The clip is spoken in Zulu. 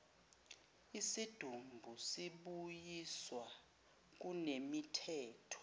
isidumbu sibuyiswa kunemithetho